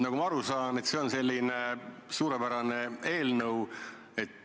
Nagu ma aru saan, on see suurepärane eelnõu.